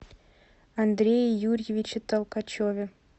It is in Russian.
андрее юрьевиче толкачеве